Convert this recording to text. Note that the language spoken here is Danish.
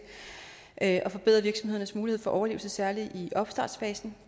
at forbedre virksomhedernes mulighed for overlevelse særlig i opstartsfasen